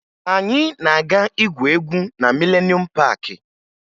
Anyị na-aga igwu egwu na Milenuum Paakị